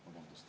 Vabandust!